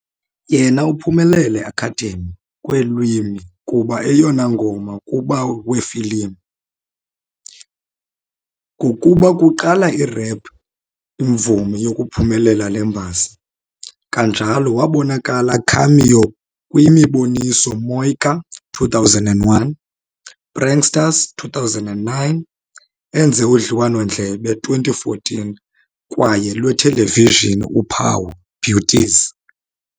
Yena uphumelele Academy kweelwimi kuba eyona ngoma kuba wefilim, ngokuba kuqala i-rap imvumi yokuphumelela le mbasa. Kanjalo wabonakala cameo kwi-imiboniso "Moika "2001", Pranksters "2009" enze udliwano-ndlebe "2014" kwaye lwethelevijini uphawu "Beauties".